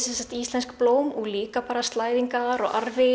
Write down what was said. íslensk blóm og líka slæðingar og arfi